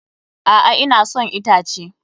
A'a, ina son itace.